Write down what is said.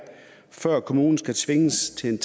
før kommunen skal tvinges til